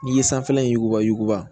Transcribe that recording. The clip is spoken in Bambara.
N'i ye sanfɛla in yuguba yuguba